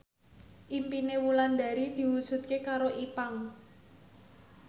impine Wulandari diwujudke karo Ipank